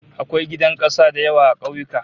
Akwai gidan kasa da yawa a ƙauyuka